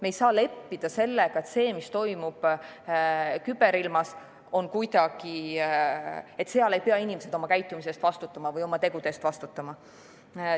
Me ei saa leppida sellega, et küberilmas toimuva puhul ei pea inimesed oma käitumise või oma tegude eest vastutama.